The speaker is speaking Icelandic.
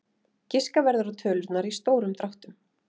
Giska verður á tölurnar í stórum dráttum.